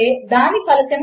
ఇంక ఓర్ గురించి